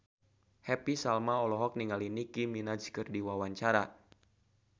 Happy Salma olohok ningali Nicky Minaj keur diwawancara